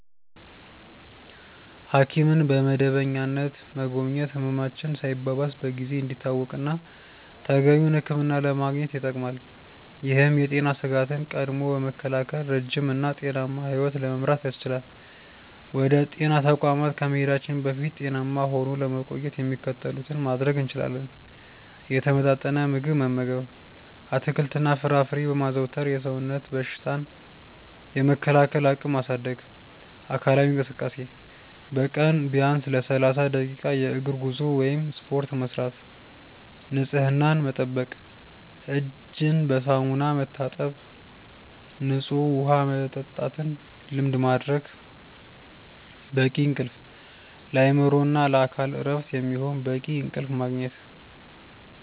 ሐኪምን በመደበኛነት መጎብኘት ህመማችን ሳይባባስ በጊዜ እንዲታወቅና ተገቢውን ሕክምና ለማግኘት ይጠቅማል። ይህም የጤና ስጋትን ቀድሞ በመከላከል ረጅም እና ጤናማ ሕይወት ለመምራት ያስችላል። ወደ ጤና ተቋማት ከመሄዳችን በፊት ጤናማ ሆኖ ለመቆየት የሚከተሉትን ማድረግ እንችላለን፦ የተመጣጠነ ምግብ መመገብ፦ አትክልትና ፍራፍሬን በማዘውተር የሰውነትን በሽታ የመከላከል አቅም ማሳደግ። አካላዊ እንቅስቃሴ፦ በቀን ቢያንስ ለ30 ደቂቃ የእግር ጉዞ ወይም ስፖርት መስራት። ንፅህናን መጠበቅ፦ እጅን በሳሙና መታጠብና ንፁህ ውሃ መጠጣትን ልማድ ማድረግ። በቂ እንቅልፍ፦ ለአእምሮና ለአካል እረፍት የሚሆን በቂ እንቅልፍ ማግኘት።